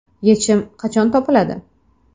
Yechim qachon topiladi?